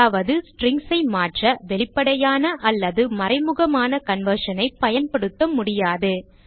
அதாவது strings ஐ மாற்ற வெளிப்படையான அல்லது மறைமுகமான conversion ஐ பயன்படுத்த முடியாது